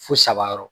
Fo saba yɔrɔ